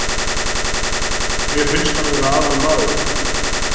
Mér fannst hann vera aðalmaðurinn.